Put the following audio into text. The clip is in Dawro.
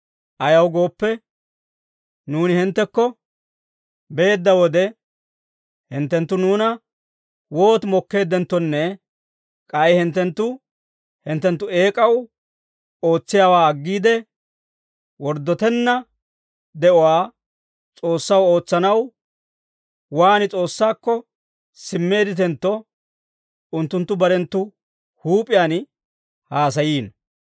Ayaw gooppe, nuuni hinttekko beedda wode, hinttenttu nuuna wooti mokkeeddenttonne k'ay hinttenttu hinttenttu eek'aw ootsiyaawaa aggiide, worddotenna de'uwaa S'oossaw ootsanaw waan S'oossaakko simmeedditentto, unttunttu barenttu huup'iyaan haasayiino.